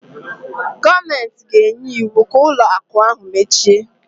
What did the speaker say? Gọọmentị ga-enye iwu ka ụlọ akụ ahụ mechie